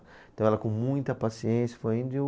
Então ela com muita paciência foi indo e eu